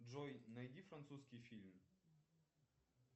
джой найди французский фильм